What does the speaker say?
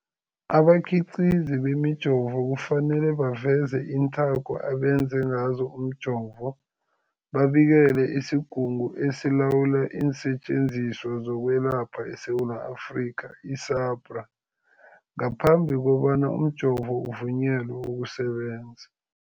Abakhiqizi bemijovo kufanele baveze iinthako abenze ngazo umjovo, babikele isiGungu esiLawula iinSetjenziswa zokweLapha eSewula Afrika, i-SAHPRA, ngaphambi kobana umjovo uvunyelwe ukusebenza.